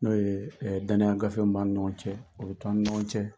N'o ye danaya gafe min b'an ni ɲɔgɔn cɛ, o bɛ to ani ɲɔgɔn cɛ.